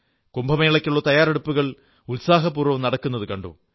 കുംഭമേളയ്ക്കുള്ള തയ്യാറെടുപ്പുകൾ ഉത്സാഹപൂർവ്വം നടക്കുന്നതു കണ്ടു